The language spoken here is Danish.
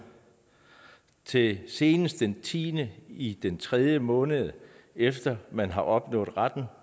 til senest den tiende i den tredje måned efter man har opnået retten